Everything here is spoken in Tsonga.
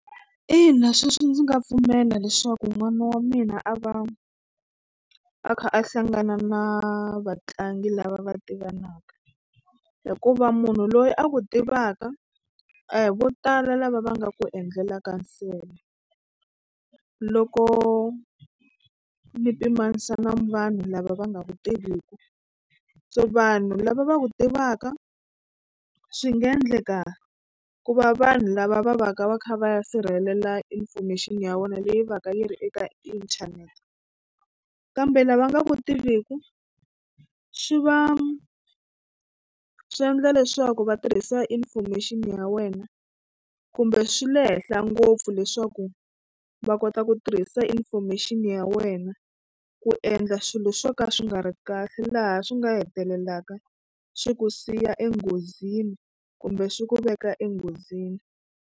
Ina sweswo ndzi nga pfumela leswaku n'wana wa mina a va a kha a hlangana na vatlangi lava va tivanaka hikuva munhu loyi a ku tivaka a hi vo tala lava va nga ku endlelaka nsele loko mi pimanisa na vanhu lava va nga ku tiviku so vanhu lava va ku tivaka swi nga endleka ku va vanhu lava va va ka va kha va ya sirhelela information ya wena leyi va ka yi ri eka inthanete kambe lava nga ku tiviku swi va swi endla leswaku va tirhisa information ya wena kumbe swi le henhla ngopfu leswaku va kota ku tirhisa information ya wena ku endla swilo swo ka swi nga ri kahle laha swi nga hetelelaka swi ku siya enghozini kumbe swi ku veka enghozini.